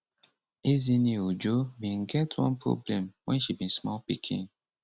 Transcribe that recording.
ezinne ojo bin get one problem wen she be small pikin